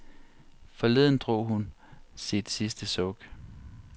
Forleden drog hun sit sidste suk.